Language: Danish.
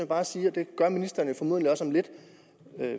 bare sige og det gør ministeren formodentlig også om lidt